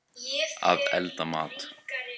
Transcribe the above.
Að elda mat.